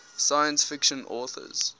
science fiction authors